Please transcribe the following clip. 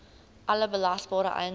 alle belasbare eiendom